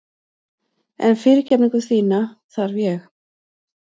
En fyrirgefningu þína þarf ég.